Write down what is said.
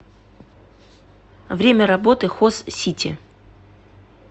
время работы хозсити